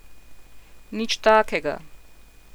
Nič takega!